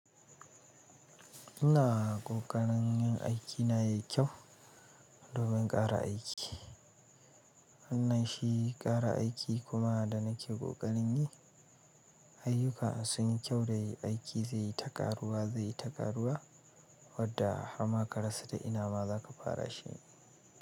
Ina koƙarin aiki na yai kyau domin ƙara aiki. Wannan shi ƙara aiki kuma da nake kokarin yi, ayyuka sun yi kyau da aiki zai yi ta ƙaruwa zai yi ta ƙaruwa, wadda har ma karasa ta ina ma za ka fara shi.